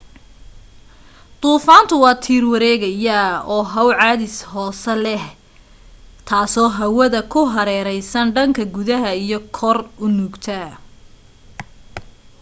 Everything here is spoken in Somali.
duufaantu waa tiir wareegaya oo how cadaadis hoose leh ah taasoo hawada ku hareeraysan dhanka gudaha iyo kor u nuugta